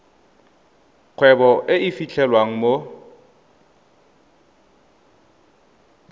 kgwebo e e fitlhelwang mo